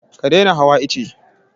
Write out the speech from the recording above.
Ka daina hawa ice!